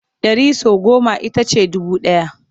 Ɗari sau goma ita ce dubu ɗaya.